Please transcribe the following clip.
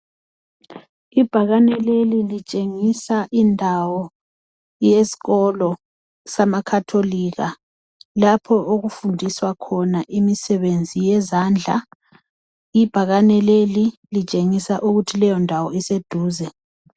Ibhakane leli litshengisa indawo yesikolo samakhatholika lapho okufundiswa khona imisebenzi yezandla. Ibhakane leli litshengisa ukuthi leyondawo iseduze.